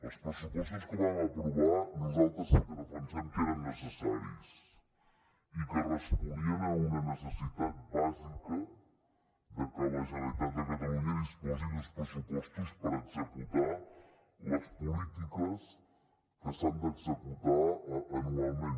els pressupostos que vam aprovar nosaltres sí que defensem que eren necessaris i que responien a una necessitat bàsica de que la generalitat de catalunya disposi d’uns pressupostos per executar les polítiques que s’han d’executar anualment